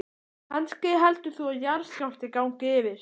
Kannski heldur það að jarðskjálfti gangi yfir.